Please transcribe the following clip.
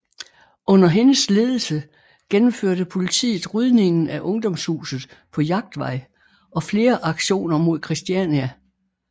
Under hendes ledelse gennemførte politiet rydningen af Ungdomshuset på Jagtvej og flere aktioner mod Christiania